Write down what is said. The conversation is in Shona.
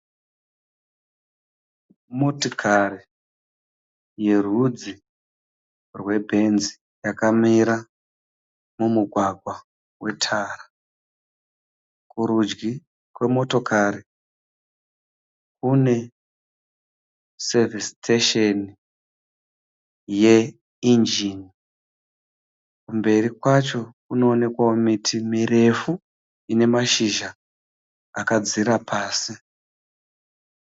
Motikari yerudzi rweBenz yakamira mumugwagwa wetara, kurudyi kwemotokari kune Service station yeEngen. Kumberi kwacho kunoonekwa miti mirefu ina mashizha akadzira pasi.